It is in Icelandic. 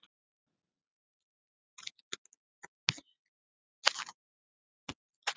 Í síðari heimildinni er skýringin á þessu fyrirbrigði mjög rækileg: